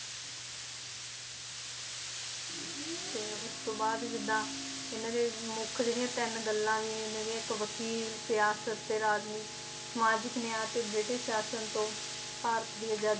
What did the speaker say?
ਤੇ ਉਸਤੋਂ ਬਾਅਦ ਜਿਦਾਂ ਇਹਨਾਂ ਦੇ ਮੁੱਖ ਜਿਹੜੀਆਂ ਤਿੰਨ ਗੱਲਾਂ ਇਹਨਾਂ ਦੀਆਂ ਇੱਕ ਵਕੀਲ ਸਿਆਸਤ ਤੇ ਰਾਜਨੀਤੀ ਸਮਾਜਿਕ ਨਿਆਂ ਤੇ ਬ੍ਰਿਟਿਸ਼ ਸ਼ਾਸ਼ਨ ਤੋਂ ਭਾਰਤ ਦੀ ਆਜ਼ਾਦੀ